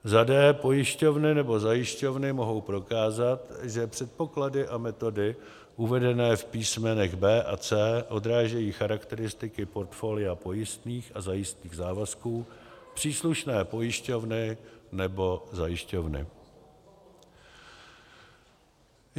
d) pojišťovny nebo zajišťovny mohou prokázat, že předpoklady a metody uvedené v písmenech b) a c) odrážejí charakteristiky portfolia pojistných a zajistných závazků příslušné pojišťovny nebo zajišťovny.